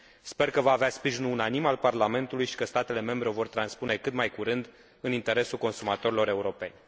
Sper că va avea sprijinul unanim al Parlamentului și că statele membre o vor transpune cât mai curând, în interesul consumatorilor europeni.